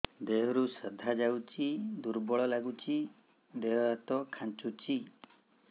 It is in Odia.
ଦେହରୁ ସାଧା ଯାଉଚି ଦୁର୍ବଳ ଲାଗୁଚି ଦେହ ହାତ ଖାନ୍ଚୁଚି